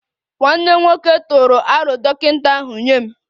Nwanne m nwoke tụrụ aro dọkịta ahu nye m